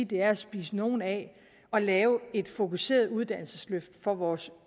det er at spise nogen af at lave et fokuseret uddannelsesløft for vores